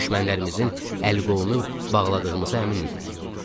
Düşmənlərimizin əl qolunu bağladığımıza əmin idik.